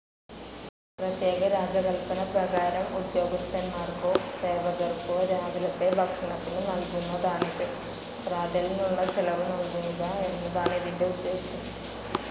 പ്രത്യേക രാജകല്പന പ്രകാരം ഉദ്യോഗസ്ഥന്മാർക്കോ സേവകർക്കോ രാവിലത്തെ ഭക്ഷണത്തിനു നൽകുന്നതാണിത്.പ്രാതലിനുള്ള ചെലവ് നൽകുക എന്നതാണ് ഇതിന്റെ ഉദ്ദേശം.